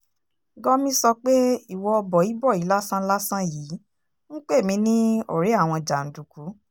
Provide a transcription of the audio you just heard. gọmi sọ pé ìwọ bói-bòí lásán-lásán yìí ń pè mí ní ọ̀rẹ́ àwọn jàǹdùkú